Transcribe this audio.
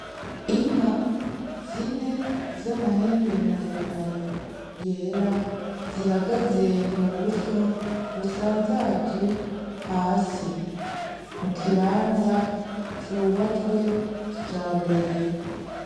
Inka zine z'amahembe maremare yera zihagaze mu busho busanzaje hasi mu kibanza cubatswe kija mbere.